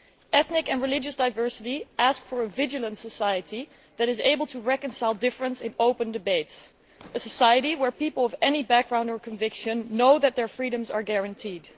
Ethnic and religious diversity asks for a vigilant society that is able to reconcile differences in open debate, a society where people of any background or conviction know that their freedoms are guaranteed.